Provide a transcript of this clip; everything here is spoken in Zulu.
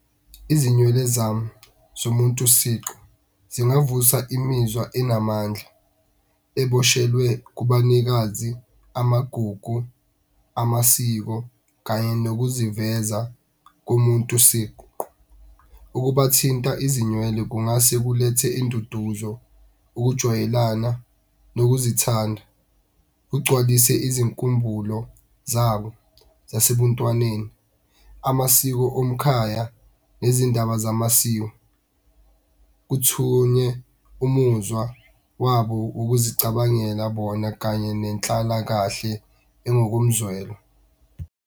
Izinywele zami zomuntu siqu zingavusa imizwa enamandla eboshelwe kubanikazi, amagugu, amasiko, kanye nokuziveza komuntu siqu. Ukubathinta izinywele kungase kulethe induduzo, ukujwayelana, nokuzithanda. Ugcwalise izinkumbulo zabo zasebuntwaneni, amasiko omkhaya nezindaba zamasiko. Kuthunye umuzwa wabo wokuzicabangela bona kanye nenhlalakahle engokomzwelo.